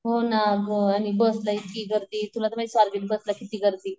हो ना गं आणि बसला इतकी गर्दी तुला तर बसला किती गर्दी.